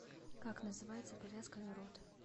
как называется повязка на рот